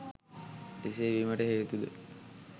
එසේ වීමට හේතුද